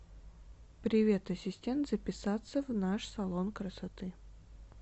привет ассистент записаться в наш салон красоты